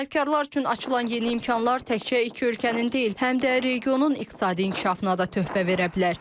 Sahibkarlar üçün açılan yeni imkanlar təkcə iki ölkənin deyil, həm də regionun iqtisadi inkişafına da töhfə verə bilər.